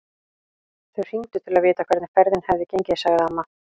Einar Bogason frá Hringsdal.